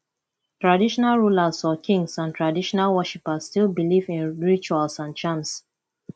traditional rulers or kings and traditional worshippers still believe in rituals and charm